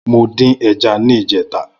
Mó din ẹ̀já yi nijètá